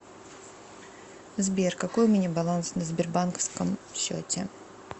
сбер какой у меня баланс на сбербанковском счете